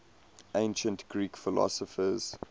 ancient greek philosophers